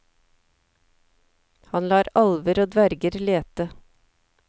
Han lar alver og dverger lete.